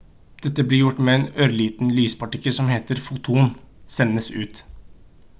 dette blir gjort med en ørliten lyspartikkel som heter «foton» sendes ut